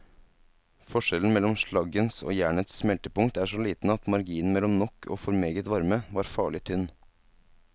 Forskjellen mellom slaggens og jernets smeltepunkt er så liten at marginen mellom nok og for meget varme var farlig tynn.